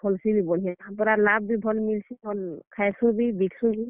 ଫଲ୍ ସି ବି ବଢିଆଁ। ପୁରା ଲାଭ୍ ବି ଭଲ୍ ମିଲ୍ ସି, ଖାଏସୁଁ ବି, ବିକସୁଁ ବି।